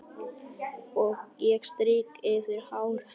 Ég strýk yfir hár hennar.